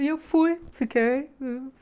E eu fui, fiquei.